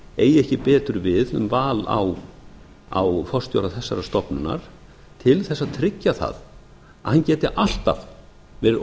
eigi ekki betur við um val á forstjóra þessarar stofnunar til þess að tryggja það að hann geti alltaf verið